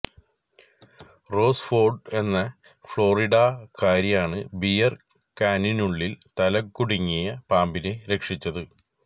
rose Ford എന്ന ഫ്ലോറിഡാകാരിയാണ് beer കാനിനുള്ളില് തലകുടുങ്ങിയ പാമ്പിനെ രക്ഷിച്ചത്